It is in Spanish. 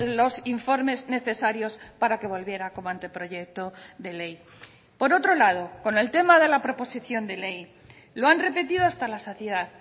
los informes necesarios para que volviera como anteproyecto de ley por otro lado con el tema de la proposición de ley lo han repetido hasta la saciedad